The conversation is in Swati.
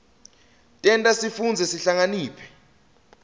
tenta sifundze sihlakaniphe